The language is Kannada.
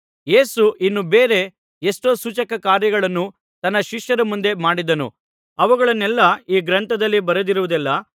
ಯೇಸು ಇನ್ನು ಬೇರೆ ಎಷ್ಟೋ ಸೂಚಕಕಾರ್ಯಗಳನ್ನು ತನ್ನ ಶಿಷ್ಯರ ಮುಂದೆ ಮಾಡಿದನು ಅವುಗಳನ್ನೆಲ್ಲಾ ಈ ಗ್ರಂಥದಲ್ಲಿ ಬರೆದಿರುವುದಿಲ್ಲಾ